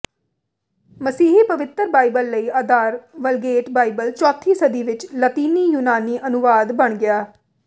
ਮਸੀਹੀ ਪਵਿੱਤਰ ਬਾਈਬਲ ਲਈ ਆਧਾਰ ਵਲਗੇਟ ਬਾਈਬਲ ਚੌਥੀ ਸਦੀ ਵਿਚ ਲਾਤੀਨੀ ਯੂਨਾਨੀ ਅਨੁਵਾਦ ਬਣ ਗਿਆ